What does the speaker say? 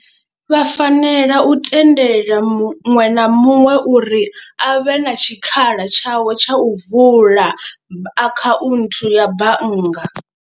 Vha fanela u tendela muṅwe na muṅwe uri a vhe na tshikhala tshawe tsha u vula akhaunthu ya bannga.